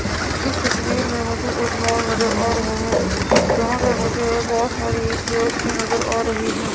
इस तस्वीर में मुझे एक मॉल नजर आ रहा है यहां पे मुझे बहुत सारी चेयर्स भी नजर आ रही हैं।